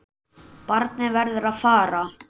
Barnið verður að fara.